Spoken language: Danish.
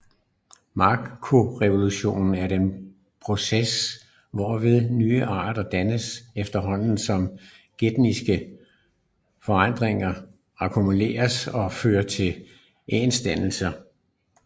Makroevolution er den proces hvorved nye arter dannes efterhånden som genetiske forandringer akkumuleres og fører til artsdannelse